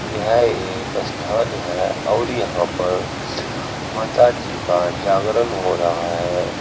यह एक स्थान है और यहां पर माता जी का जागरण हो रहा है।